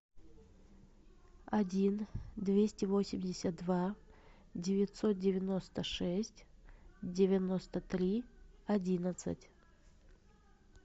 один двести восемьдесят два девятьсот девяносто шесть девяносто три одиннадцать